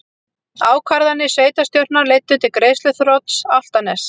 Ákvarðanir sveitarstjórnar leiddu til greiðsluþrots Álftaness